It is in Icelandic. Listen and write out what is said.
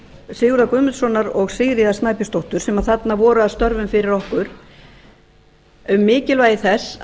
sigurðar guðmundssonar og sigríðar snæbjörnsdóttur sem þarna voru að störfum fyrir okkur um mikilvægi þess